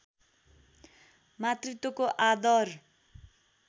मातृत्वको आदर